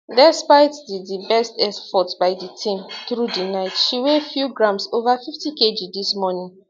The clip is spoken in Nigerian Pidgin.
despite di di best efforts by di team through di night she weigh few grams ova 50kg dis morning